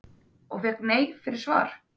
Og fékk nei fyrir svar?